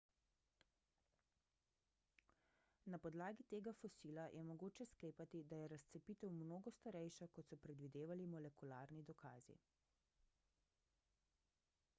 na podlagi tega fosila je mogoče sklepati da je razcepitev mnogo starejša kot so predvidevali molekularni dokazi